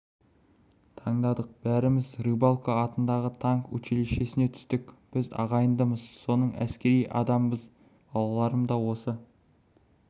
таңдадық бәріміз рыбалко атындағы танк училищесіне түстік біз ағайындымыз соның әскери адамбыз балаларым да осы